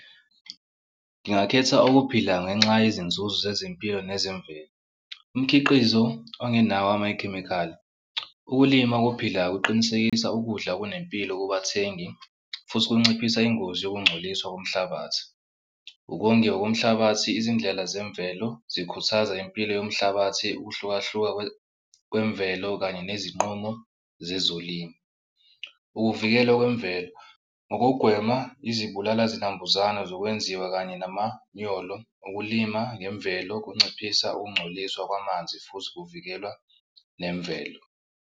Ngingakhetha ukuphila ngenxa yezinzuzo zezempilo nezemvelo. Umkhiqizo ongenawo amakhemikhali. Ukulima okuphilayo kuqinisekisa ukudla okunempilo kubathengi futhi kunciphisa ingozi yokungcoliswa komhlabathi. Ukongiwa komhlabathi, izindlela zemvelo zikhuthaza impilo yomhlabathi ukuhlukahluka kwemvelo kanye nezinqumo zezolimo. Ukuvikelwa kwemvelo ngokugwema izibulala zinambuzane zokwenziwa kanye namanyolo ukulima ngemvelo kunciphisa ukungcoliswa kwamanzi futhi kuvikela nemvelo.